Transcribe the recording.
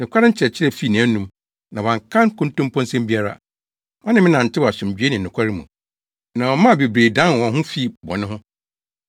Nokware nkyerɛkyerɛ fii nʼanom, na wanka nkontomposɛm biara. Ɔne me nantew asomdwoe ne nokwaredi mu, na ɔmaa bebree dan wɔn ho fii bɔne ho.